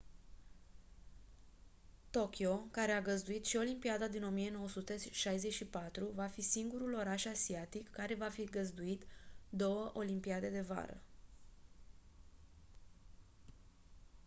tokyo care a găzduit și olimpiada din 1964 va fi singurul oraș asiatic care va fi găzduit două olimpiade de vară